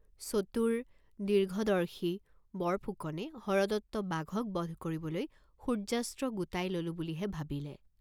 চতুৰ, দীৰ্ঘদৰ্শী বৰফুকনে হৰদত্ত বাঘক বধ কৰিবলৈ সূৰ্য্যাস্ত্ৰ গোটাই ললো বুলিহে ভাবিলে।